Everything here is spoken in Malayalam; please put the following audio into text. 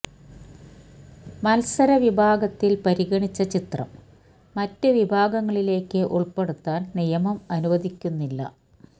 മൽസര വിഭാഗത്തിൽ പരിഗണിച്ച ചിത്രം മറ്റ് വിഭാഗങ്ങളിലേക്ക് ഉൾപ്പെടുത്താൻ നിയമം അനുവദിക്കുന്നില്ല